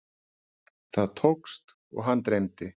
Það tókst og hann dreymdi.